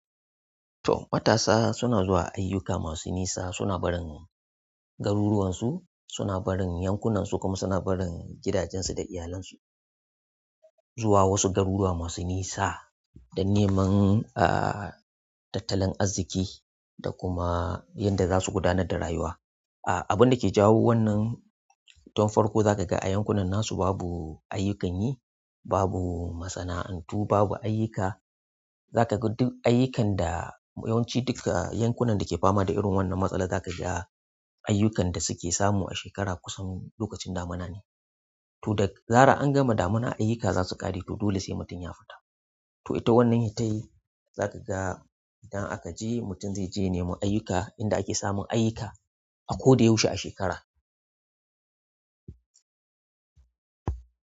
Matasa suna zuwa ayyuka masu nisa, suna barin garuruwansu, suna barin yankunansu kuma suna barin gidajensu da iyalansu zuwa wasu garuruwa masu nisa don neman, ah, tattalin arziki da kuma yanda za su gudanar da rayuwa. Ah, abinda ke jawo wannan, to farko za ka ga a yankunan nasu babu ayyukan yi, babu masana'antu, babu ayyika. Za ka ga duk ayyukan da yawanci duka yankunan da ke fama da irin wannan matsala za ka ga ayyukan da suke samu a shekara kusan lokacin damuna ne. To da zarar an gama damuna ayyuka za su ƙare to dole sai mutum ya fita. To ita wannan intai za ka ga idan aka je mutum zai je ya nemo ayyuka inda ake samun ayyuka a ko da ya ushe a shekara.